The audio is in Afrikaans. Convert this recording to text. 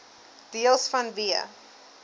deels vanweë